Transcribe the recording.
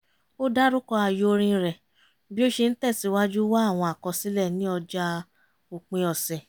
ó dárúkọ ààyò orin rẹ̀ bí ó ṣe ń tẹ̀sìwájú wá àwọn àkọsílẹ̀ ní ọjà òpin ọ̀sẹ̀